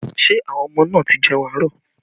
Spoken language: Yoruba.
Ṣé àwọn ọmọ náà ti jẹun àárọ̀?